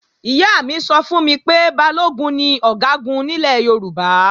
Ìyá mi sọ fún mi pé Balógun ni Ọ̀gágun nílẹ̀ Yorùbá